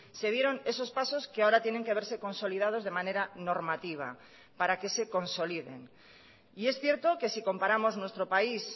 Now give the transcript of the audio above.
se dieron esos pasos que ahora tienen que verse consolidados de manera normativa para que se consoliden y es cierto que si comparamos nuestro país